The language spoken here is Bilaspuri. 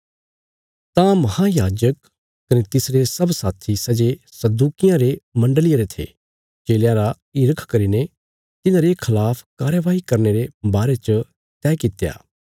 तां महायाजक कने तिसरे सब साथी सै जे सदूकियां रे मण्डल़िया रे थे चेलयां रा हिरख करीने तिन्हांरे खिलाफ कार्यवाई करने रे बारे च तैह कित्या